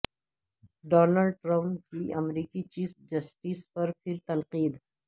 Donald Trump کی امریکی chief justice پر پھر تنقید